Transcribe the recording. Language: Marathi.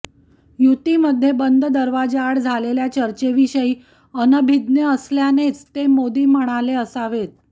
युतीमध्ये बंद दाराआड झालेल्या चर्चेविषयी अनभिज्ञ असल्यानेच ते मोदी म्हणाले असावेत